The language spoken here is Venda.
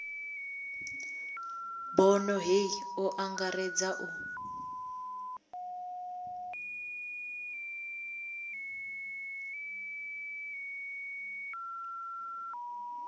bono hei o angaredza u